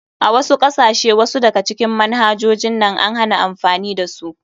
A wasu kasashe wasu daga cikin manhajojin nan an hana amfani da su.